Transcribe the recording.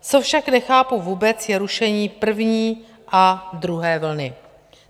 Co však nechápu vůbec, je rušení první a druhé vlny.